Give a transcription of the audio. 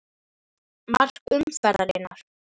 Mark umferðarinnar?